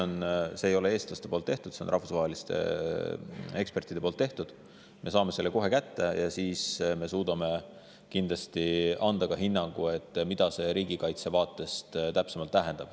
Analüüsi ei teinud eestlased, selle tegid rahvusvahelised eksperdid, me saame selle varsti kätte ja siis me suudame kindlasti anda ka hinnangu, mida see riigikaitse vaatest täpsemalt tähendab.